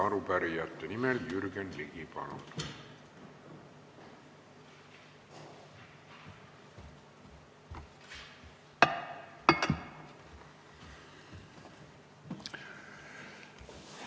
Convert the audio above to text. Arupärijate nimel Jürgen Ligi, palun!